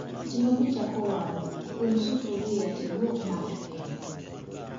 Seche ma pii chako walo, um sufria tiduok mach piny